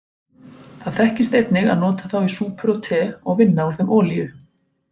Það þekkist einnig að nota þá í súpur og te og vinna úr þeim olíu.